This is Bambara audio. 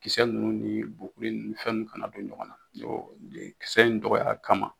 Kisɛ ninnu ni bokure ni fɛn ninnu kana don ɲɔgɔn na kisɛ in dɔgɔkya ama